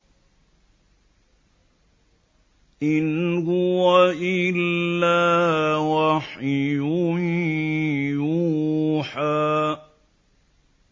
إِنْ هُوَ إِلَّا وَحْيٌ يُوحَىٰ